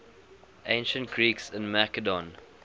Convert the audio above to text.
ancient greeks in macedon